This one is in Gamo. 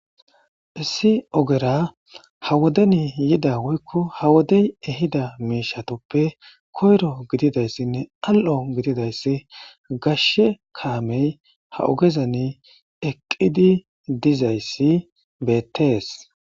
Issi ogera ha wodeni yida woykko ha wodey ehida miishatoppe koyro gididayssinne al'o gididayssi gashshe kaamey ha ogezani eqqidi dizayssi beettees